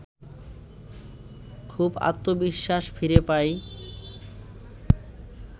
খুব আত্মবিশ্বাস ফিরে পাই